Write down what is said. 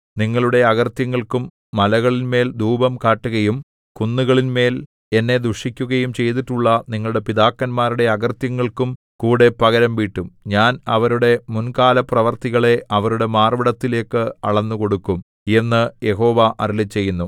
നിങ്ങളുടെ അകൃത്യങ്ങൾക്കും മലകളിന്മേൽ ധൂപം കാട്ടുകയും കുന്നുകളിന്മേൽ എന്നെ ദുഷിക്കുകയും ചെയ്തിട്ടുള്ള നിങ്ങളുടെ പിതാക്കന്മാരുടെ അകൃത്യങ്ങൾക്കും കൂടെ പകരംവീട്ടും ഞാൻ അവരുടെ മുൻകാലപ്രവൃത്തികളെ അവരുടെ മാർവ്വിടത്തിലേക്ക് അളന്നുകൊടുക്കും എന്നു യഹോവ അരുളിച്ചെയ്യുന്നു